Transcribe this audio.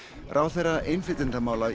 ráðherra innflytjendamála